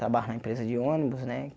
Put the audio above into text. Trabalho na empresa de ônibus, né?